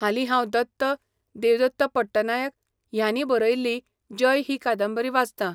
हालीं हांव दत्त, देवदत्त पट्टनायक ह्यांनी बरयल्ली 'जय' ही कादंबरी वाचतां.